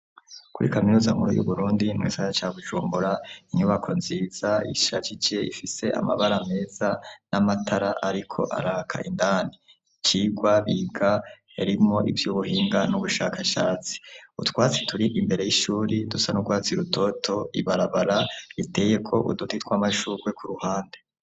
Kuri kaminuza nkuru y'uBurundi mugisagara ca Bujumbura, inyubako nziza ishajije ifise amabara meza n'amatara ariko araka indani ,icigwa biga yarimwo ivy'ubuhinga n'ubushakashatsi utwatsi turi imbere y'ishuri dusa n'urwatsi rutoto, ibarabara riteyeko uduti tw'amashurwe iruhande.